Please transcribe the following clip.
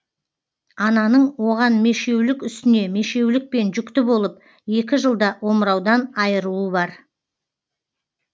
ананың оған мешеулік үстіне мешеулікпен жүкті болып екі жылда омыраудан айыруы бар